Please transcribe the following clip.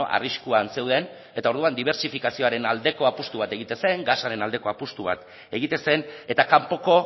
arriskuan zeuden eta orduan dibertsifikazioaren aldeko apustu bat egiten zen gasaren aldeko apustu bat egiten zen eta kanpoko